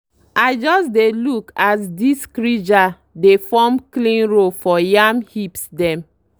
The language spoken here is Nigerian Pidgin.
i just dey look as disc ridger dey form clean row for yam hips dem